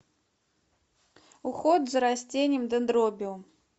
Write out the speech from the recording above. уход за растением дендробиум